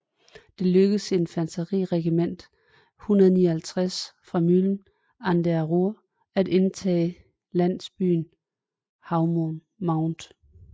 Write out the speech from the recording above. Det lykkedes infanteriregiment 159 fra Mülheim an der Ruhr at indtage landsbyen Haumont